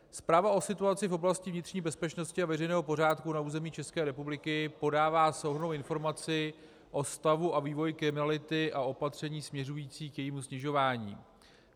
Zpráva o situaci v oblasti vnitřní bezpečnosti a veřejného pořádku na území České republiky podává souhrnnou informaci o stavu a vývoji kriminality a opatření směřující k jejímu snižování.